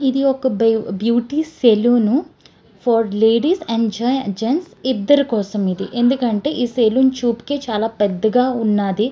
ఇది ఒక బే beauty salon for ladies and జే జెంట్స్ ఇద్దరి కోసం అది ఎందుకంటే ఈ సలోన్ చూపుకే చాల పెద్దగా ఉన్నది.